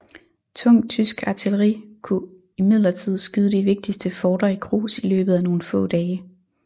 Tungt tysk artilleri kunne imidlertid skyde de vigtigste forter i grus i løbet af nogle få dage